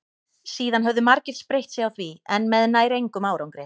síðan höfðu margir spreytt sig á því en með nær engum árangri